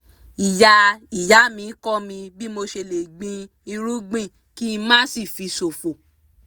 ìyá ìyá mi kọ́ mi bí mo ṣe lè gbin irúgbìn kí má sì fi ṣòfò